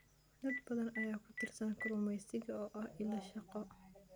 Dad badan ayaa ku tiirsan kalluumeysiga oo ah il shaqo.